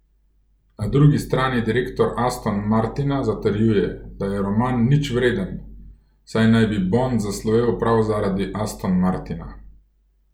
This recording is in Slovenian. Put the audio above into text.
Na drugi strani direktor Aston Martina zatrjuje, da je roman nič vreden, saj naj bi Bond zaslovel prav zaradi Aston Martina.